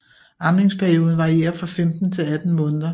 Amningsperioden varierer fra 15 til 18 måneder